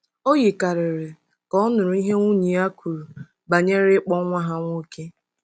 O yikarịrị ka ọ̀ nụrụ ihe nwunye ya kwuru banyere ịkpọ nwa ha nwoke.